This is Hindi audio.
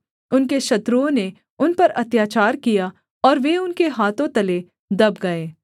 उनके शत्रुओं ने उन पर अत्याचार किया और वे उनके हाथों तले दब गए